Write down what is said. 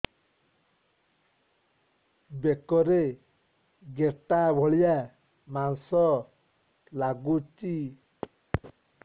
ବେକରେ ଗେଟା ଭଳିଆ ମାଂସ ଲାଗୁଚି